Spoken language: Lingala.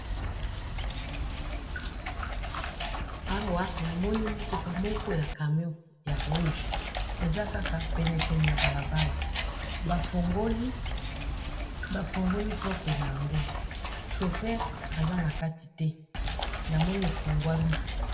Awa namoni mutuka moko ya camion ya rouge eza kaka pene pene ya balabala bafongoli porte na yango chauffeur aza na kati te namoni efungwami